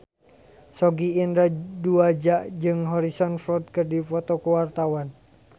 Sogi Indra Duaja jeung Harrison Ford keur dipoto ku wartawan